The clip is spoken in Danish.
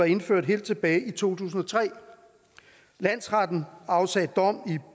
indført helt tilbage i to tusind og tre landsretten afsagde dom